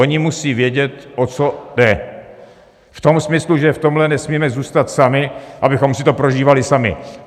Oni musí vědět, o co jde v tom smyslu, že v tomhle nesmíme zůstat sami, abychom si to prožívali sami.